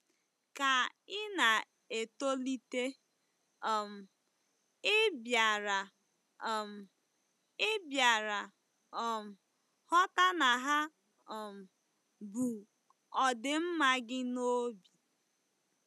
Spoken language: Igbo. Ka ị na-etolite, um ị bịara um ị bịara um ghọta na ha um bu ọdịmma gị n'obi.